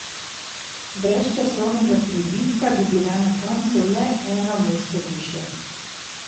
Brez časovnega pribitka bi bila na koncu le eno mesto višje.